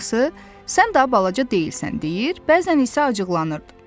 Anası, sən daha balaca deyilsən deyir, bəzən isə acıqlanırdı.